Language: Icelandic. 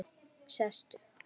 Sestu